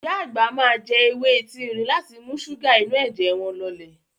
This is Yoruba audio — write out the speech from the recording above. Ìyá àgbà máa jẹ ewé etí erin láti mú ṣúgà inú ẹ̀jẹ̀ wọn lọlẹ̀.